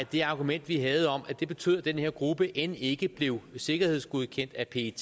det argument vi havde om at det betød at den her gruppe end ikke blev sikkerhedsgodkendt af pet